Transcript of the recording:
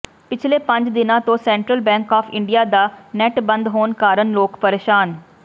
ਪਿਛਲੇ ਪੰਜ ਦਿਨਾਂ ਤੋਂ ਸੈਂਟਰਲ ਬੈਂਕ ਆਫ਼ ਇੰਡੀਆ ਦਾ ਨੈੱਟ ਬੰਦ ਹੋਣ ਕਾਰਨ ਲੋਕ ਪ੍ਰੇਸ਼ਾਨ